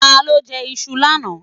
Ta ló jẹ iṣu lánàá?